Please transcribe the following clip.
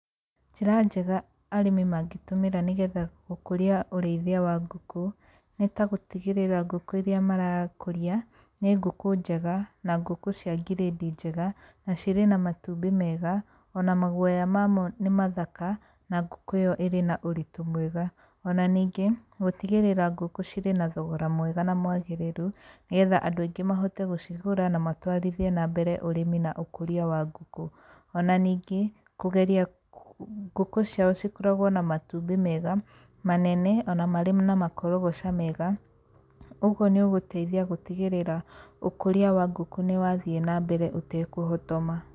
Njĩra njega arĩmi mangĩtũmĩra nĩgetha gũkũria ũrĩithia wa ngũkũ, nĩ ta gũtigĩrĩra ngũkũ iria marakũria nĩ ngũkũ njega, na ngũkũ cia ngirĩndi njega na cirĩ na matumbĩ mega, ona maguoya mamo nĩmathaka, na ngũkũ ĩyo ĩrĩ na ũritũ mwega. Ona ningĩ, gũtigĩrĩra ngũkũ cirĩ na thogora mwega na mwagĩrĩru, nĩgetha andũ aingĩ mahote gũcigũra na matwarithie na mbere ũrĩmi na ũkũria wa ngũkũ. Ona ningĩ, kũgeria ngũkũ ciao cikoragwo na matumbĩ mega, manene ona marĩ na makorogoca mega, ũguo nĩũgũteithia gũtigĩrĩra ũkũria wa ngũkũ nĩ wathiĩ na mbere ũtekũhotoma.